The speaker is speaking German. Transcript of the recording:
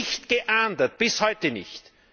Nicht geahndet, bis heute nicht!